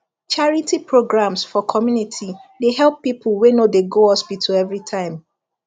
charity programs for community dey help people wey no dey go hospital every time